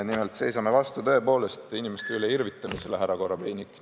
Nimelt, me seisame vastu tõepoolest inimeste üle irvitamisele, härra Korobeinik.